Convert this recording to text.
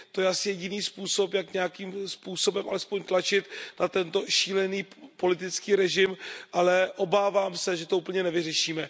To je asi jediný způsob, jak nějakým způsobem alespoň tlačit na tento šílený politický režim, ale obávám se, že to úplně nevyřešíme.